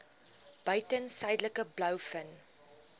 buiten suidelike blouvin